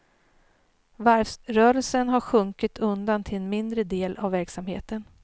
Varvsrörelsen har sjunkit undan till en mindre del av verksamheten.